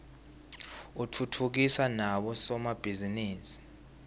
utfutfukisa nabo somabhizinisi